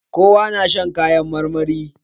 Kowa na shan kayan marmari